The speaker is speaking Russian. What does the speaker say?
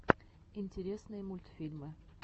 интересные мультфильмы